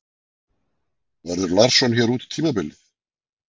Verður Larsson hér út tímabilið?